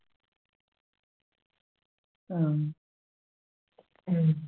ആ ഉം